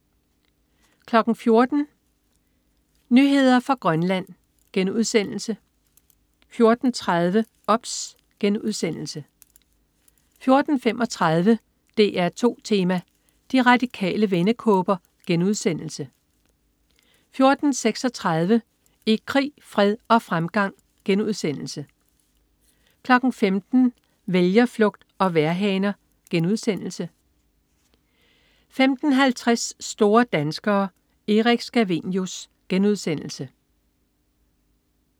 14.00 Nyheder fra Grønland* 14.30 OBS* 14.35 DR2 Tema: De Radikale vendekåber* 14.36 I krig, fred og fremgang* 15.00 Vælgerflugt og vejrhaner* 15.50 Store danskere. Erik Scavenius*